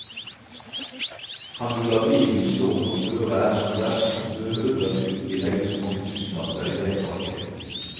Kan du la bilen stå når føret er som verst, behøver du ikke legge så mange tusenlapper i dekkvalget.